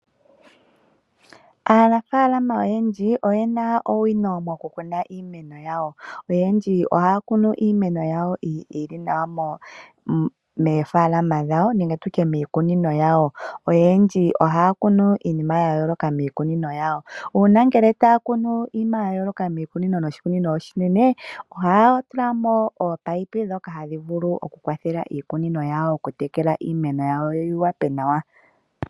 Aanafaalama oyendji oye na owino mokukuna iimeno yawo. Oyendji ohaya kunu iimeno yawo moofaalama dhawo nenge miikunino yawo. Oyendji ohaya kunu iinima ya yooloka miikunino yawo. Uuna taya kunu iimeno ya yooloka moshikunino oshinene ohaya tula mo oopayipi ndhoka hadhi vulu okutekela iimeno yawo yi hape nawa.